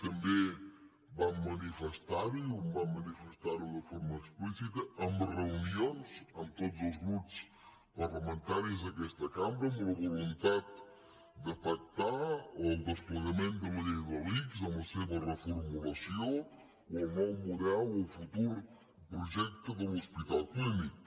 també vam manifestar ho i vam manifestar ho de forma explícita amb reunions amb tots els grups parlamentaris d’aquesta cambra amb la voluntat de pactar el desplegament de la llei de l’ics amb la seva reformulació o el nou model del futur projecte de l’hospital clínic